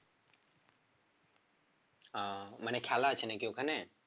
ও মানে খেলা আছে নাকি ওখানে?